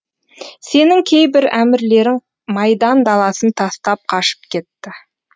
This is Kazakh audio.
сенің кейбір әмірлерің майдан даласын тастап қашып кетті